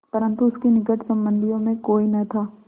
परन्तु उसके निकट संबंधियों में कोई न था